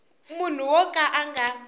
munhu wo ka a nga